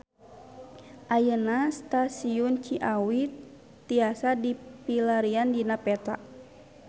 Ayeuna Stasiun Ciawi tiasa dipilarian dina peta